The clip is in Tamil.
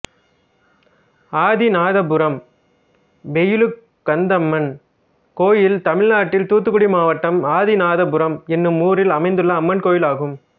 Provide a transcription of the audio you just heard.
ஆதிநாதபுரம் வெயிலுகந்தம்மன் கோயில் தமிழ்நாட்டில் தூத்துக்குடி மாவட்டம் ஆதிநாதபுரம் என்னும் ஊரில் அமைந்துள்ள அம்மன் கோயிலாகும்